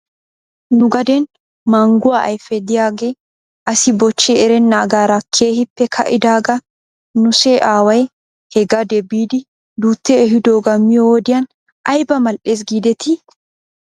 Nu gaden mangguwaa ayfe diyaagee asi bochchi erenaagaara keehippe ka"idaagaa nuse aaway he gade biidi duuti ehidoogaa miyoo wodiyan ayba mal'es giidetii?